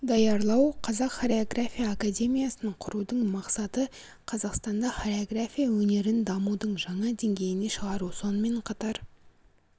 даярлау қазақ хореография академиясын құрудың мақсаты қазақстанда хореография өнерін дамудың жаңа деңгейіне шығару сонымен қатар